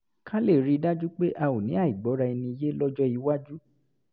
ká lè rí i dájú pé a ò ní àìgbọ́ra-ẹni-yé lọ́jọ́ iwájú